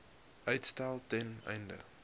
uitstel ten einde